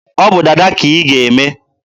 ọ bụ dada ka ị ga-eme!